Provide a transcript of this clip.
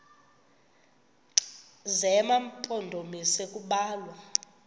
zema mpondomise kubalwa